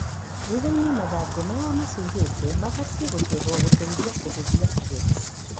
Thuthainĩ mathangũ maĩa macuhĩte mabatie gũcehwo gũtethia kũhũthia kũgetha.